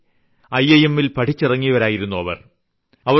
കകങ ൽ പഠിച്ചിറങ്ങിയ അനുരാഗ് അഗർവാളും സിദ്ധി കർണാണിയുമായിരുന്നു അവർ